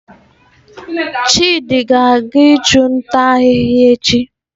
Chidi ga-aga ichu nta ahihia echi